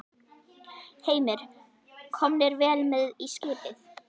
Heimir: Komnir vel með í skipið?